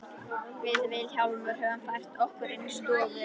Við Vilhjálmur höfum fært okkur inn í stofu.